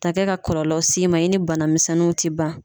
taa kɛ ka kɔlɔlɔw s'i ma i ni banamisɛnninw ti ban.